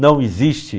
Não existe.